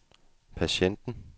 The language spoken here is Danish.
patienten